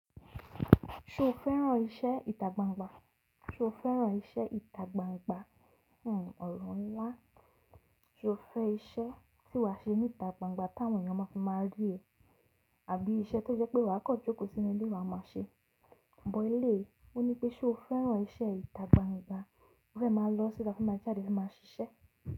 Ṣo fẹ́ràn iṣẹ́ ìtagbangba? Ṣo fẹ́ràn iṣẹ́ ìtagbangba? Hmmm ọ̀rọ̀ ńlá. Ṣo fẹ́ iṣẹ́ tí wà ṣe níta gbangba tí àwọn ènìyàn máa fi máa rí ẹ àbí iṣẹ́ tó jẹ́ pé wà kàn jókòó sínú ilé wà máa ṣe? But eléyi, ó ní pé ṣé o fẹ́ràn iṣẹ́ ìtagbangba, o fẹ́ máa lọ síta o fe máa jáde o fe máa ṣiṣẹ́?